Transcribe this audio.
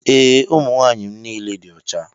Ee, ụmụ nwaanyị m niile dị ọcha